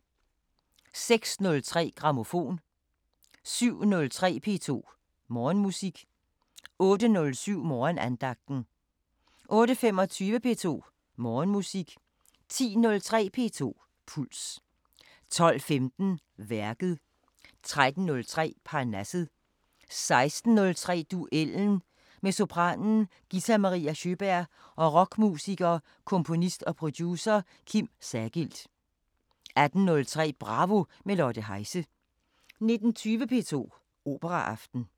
06:03: Grammofon 07:03: P2 Morgenmusik 08:07: Morgenandagten 08:25: P2 Morgenmusik 10:03: P2 Puls 12:15: Værket 13:03: Parnasset 16:03: Duellen – med sopranen Gitta-Maria Sjöberg og rockmusikeren, komponist og producer Kim Sagild 18:03: Bravo – med Lotte Heise 19:20: P2 Operaaften